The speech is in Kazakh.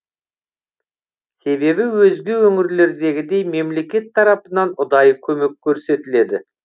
себебі өзге өңірлердегідей мемлекет тарапынан ұдайы көмек көрсетіледі